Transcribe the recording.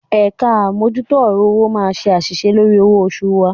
Ẹ̀ka àmójútó ọ̀rọ̀ owó máa ń ṣe àṣìṣe lórí owó oṣù wa